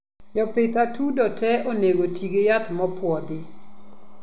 jopidh atudoo tee onego tii gi yath mopuodhi